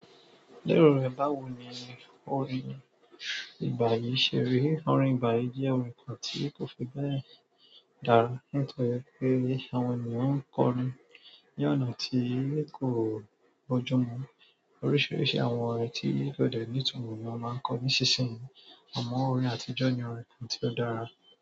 Lérò rẹ báwo ni orin ìgbà yìí ṣe rí? Orin ìgbà yìí jẹ́ orin kan tí kò fi bẹ́ẹ̀ dára nítorí pé àwọn ènìyàn ń kọnu ní ọ̀nà tí kò bójú mu. Oríṣiríṣi àwọn orin tí kò dẹ ní itumọbni wọ́n máa ń kọ ní ìsinsìnyí. Àmọ́ orin àtijọ́ ni orin kan tí ó dára.